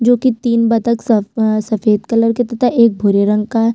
जो की तीन बतख सफ़ अ सफ़ेद कलर के तथा एक भूरे रंग का है।